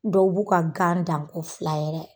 Dɔw b'u ka gan dan ko fila yɛrɛ.